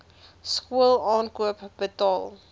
skool aankoop betaal